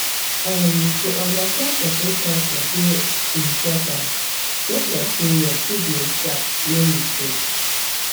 erm to understand person culture dey um important um just like sey your treatment sharp no mistake